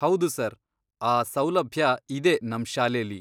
ಹೌದು ಸರ್, ಆ ಸೌಲಭ್ಯ ಇದೆ ನಮ್ ಶಾಲೆಲಿ.